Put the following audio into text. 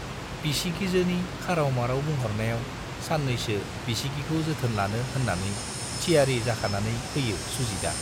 बिसिगिजोनि खाराव-माराव बुंहरनायाव सान्नैसो बिसिगिखौ जोथोन लानो होन्नानै थियारि जाखानानै फैयो सुजितआ।